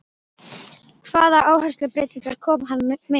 Hvaða áherslubreytingar kom hann með?